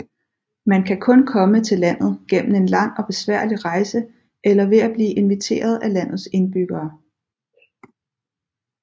Man kan kun komme til landet gennem en lang og besværlig rejse eller ved at blive inviteret af landets indbyggere